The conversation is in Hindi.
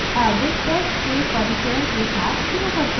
अब test के परिचय के साथ शुरू करते हैं